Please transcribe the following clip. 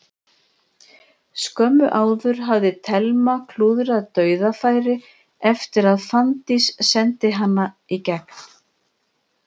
Skömmu áður hafði Telma klúðrað dauðafæri eftir að Fanndís sendi hana í gegn.